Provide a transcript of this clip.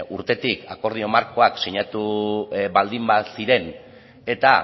urtetik akordio markoak sinatu baldin baziren eta